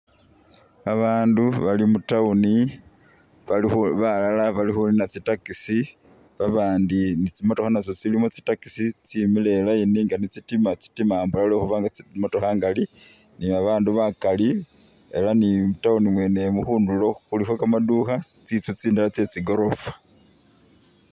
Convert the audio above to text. Abaandu bali mu town bali khu balala bali khunina tsi taxi babaandu tsi'motokha natso tsilimo tsi taxi tsemile i'line nga be tsitima ambola lwekhuba ni babaandu bakali elah ni mu town mwene mu khundulo khulikho kamadukha tsinzu tsindala tsetsi goorofa.